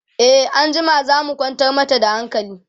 e anjima zamuje mu kwantar mata da hankali